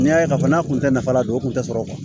N'i y'a ye k'a fɔ n'a kun tɛ nafa dɔn o kun tɛ sɔrɔ